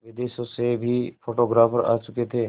विदेशों से भी फोटोग्राफर आ चुके थे